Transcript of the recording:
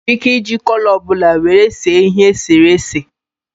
I nwere ike iji kọlọ ọbụla were see ihe eserese a